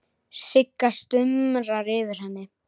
Sigga stumrar yfir henni.